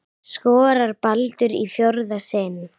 Skorar Baldur í fjórða sinn?